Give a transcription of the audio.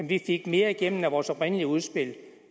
vi fik mere igennem af vores oprindelige udspil